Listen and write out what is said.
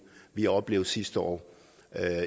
vi oplevede sidste år